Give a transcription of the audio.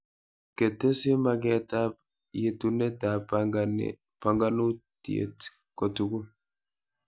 Ketesi magetab yetunatab banganutiet kotugul